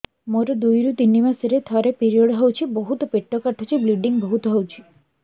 ମୋର ଦୁଇରୁ ତିନି ମାସରେ ଥରେ ପିରିଅଡ଼ ହଉଛି ବହୁତ ପେଟ କାଟୁଛି ବ୍ଲିଡ଼ିଙ୍ଗ ବହୁତ ହଉଛି